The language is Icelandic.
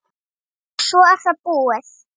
og svo er það búið.